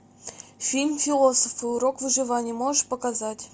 фильм философы урок выживания можешь показать